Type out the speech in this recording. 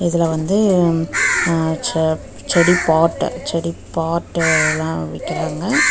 இதுல வந்து ம் அ செ செடி பாட்டு செடி பாட்டுலா விக்கிறாங்க.